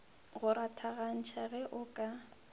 go rathagantšha ge o ka